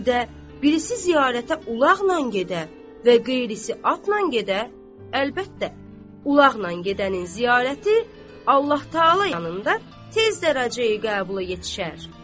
Bir də birisi ziyarətə ulaqla gedə və qeyrisi atla gedə, əlbəttə, ulaqla gedənin ziyarəti Allah-Taala yanında tez dərəcəyə qəbul yetişər.